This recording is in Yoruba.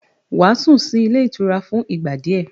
Wàá sùn sí ilé ìtura fún ìgbà díẹ̀